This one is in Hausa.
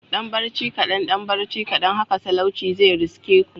Dan barci kadan dan barci kadan haka talauci zai riske ku